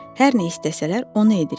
Hər nə istəsələr, onu edirik.